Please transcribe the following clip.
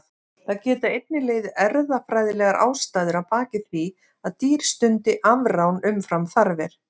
Það geta einnig legið erfðafræðilegar ástæður að baki því að dýr stundi afrán umfram þarfir.